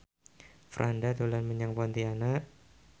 Franda dolan menyang Pontianak